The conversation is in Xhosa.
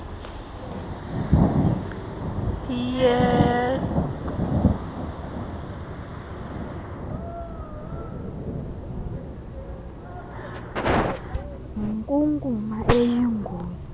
yegenotoxic yinkunkuma eyingozi